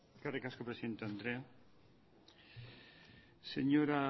eskerrik asko presidente andrea señora